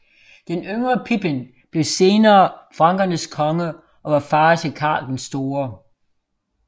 Den yngre Pipin blev senere frankernes konge og var far til Karl den store